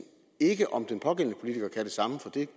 ikke om den pågældende politiker kan det samme for det